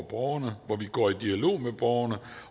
borgerne hvor vi går i dialog med borgerne